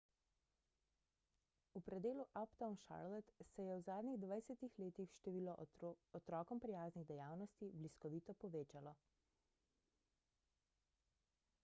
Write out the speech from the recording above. v predelu uptown charlotte se je v zadnjih 20 letih število otrokom prijaznih dejavnosti bliskovito povečalo